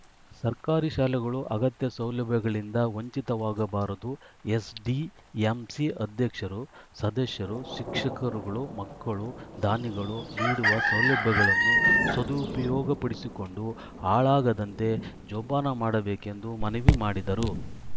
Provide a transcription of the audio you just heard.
ಸರ್ಕಾರಿ ಶಾಲೆಗಳು ಅಗತ್ಯ ಸೌಲಭ್ಯಗಳಿಂದ ವಂಚಿತವಾಗಬಾರದು ಎಸ್‌ಡಿಎಂಸಿ ಅಧ್ಯಕ್ಷರು ಸದಸ್ಯರು ಶಿಕ್ಷಕರುಗಳು ಮಕ್ಕಳು ದಾನಿಗಳು ನೀಡುವ ಸೌಲಭ್ಯಗಳನ್ನು ಸದುಪಯೋಗಪಡಿಸಿಕೊಂಡು ಹಾಳಾಗದಂತೆ ಜೋಪಾನ ಮಾಡಬೇಕೆಂದು ಮನವಿ ಮಾಡಿದರು